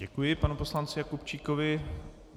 Děkuji panu poslanci Jakubčíkovi.